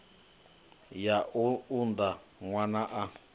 ya u unḓa ṅwana a